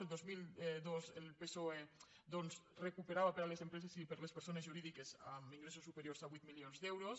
el dos mil dos el psoe doncs recuperava per a les empreses i per a les persones jurídiques amb ingressos superiors a vuit milions d’euros